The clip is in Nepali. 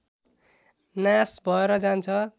नाश भएर जान्छ